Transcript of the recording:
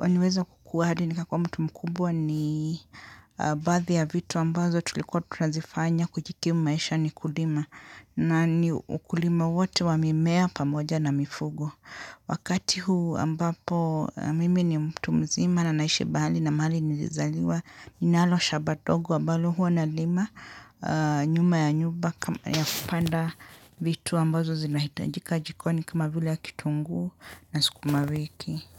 niliweza kukua hadi ni kakua mtu mkubwa ni baadhi ya vitu ambazo tulikuwa tunazifanya kujikimu maisha ni kulima na ni ukulima wote wa mimea pamoja na mifugo. Wakati huu ambapo mimi ni mtu mzima na naishi bali na mahali nilizaliwa. Ninalo shamba ndogo ambalo huwa na lima nyuma ya nyumba ya kupanda vitu ambazo zinahitajika jikoni kama vile ya kitungu na sikumawiki.